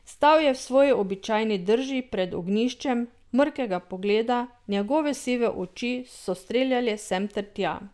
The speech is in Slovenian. Stal je v svoji običajni drži pred ognjiščem, mrkega pogleda, njegove sive oči so streljale sem ter tja.